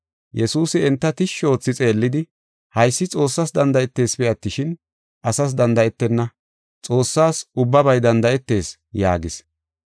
Yesuusi enta tishshi oothi xeellidi, “Haysi Xoossas danda7etesipe attishin, asas danda7etenna; Xoossas ubbabay danda7etees” yaagis.